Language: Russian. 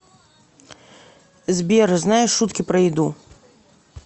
сбер знаешь шутки про еду